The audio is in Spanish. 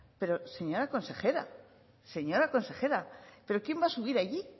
pero señora consejera señora consejera pero quién va a subir allí